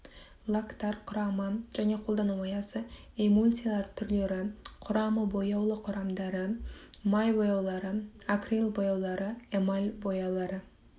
лактар құрамы және қолдану аясы эмульсиялар түрлері құрамы бояулы құрамдары май бояулары акрил бояулары эмаль бояулары